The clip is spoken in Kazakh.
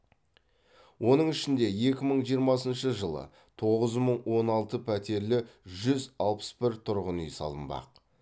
оның ішінде екі мың жиырмасыншы жылы тоғыз мың он алты пәтерлі жүз алпыс бір тұрғын үй салынбақ